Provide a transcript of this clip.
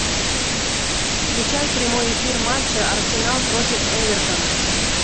включай прямой эфир матча арсенал против эвертона